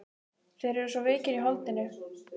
Þeir eru svo veikir í holdinu.